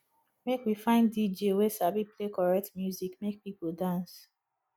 make we find dj wey sabi play correct music make pipo dance